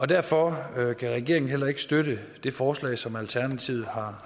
derfor kan regeringen heller ikke støtte det forslag som alternativet har